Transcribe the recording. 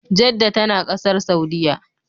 Jedda tana Ƙasar Saudiya